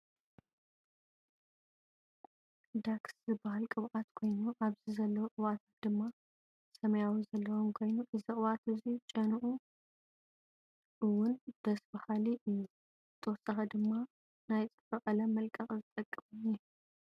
ደክስ ዝበሃል ቅብብኣት ኮይኑ ኣብዚ ዘለው ቅብኣታት ድማ ሰማያዊ መክደኒ ዘለዎም ኮይኑ እዚ ቅብኣት እዙይ ጨንኡ እውን ደስ በሃሊ እዩ። ብተወሳኪ ድማ ናይ ፅፍሪ ቀለም መልቀቀ ዝጠቅም እውን ኣሎ።